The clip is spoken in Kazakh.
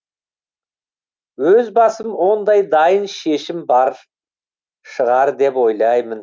өз басым ондай дайын шешім бар шығар деп ойлаймын